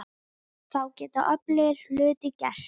Þá geta öflugir hlutir gerst.